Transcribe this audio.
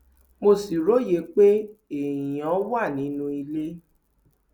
mo sì róye pé èèyàn wà nínú ilé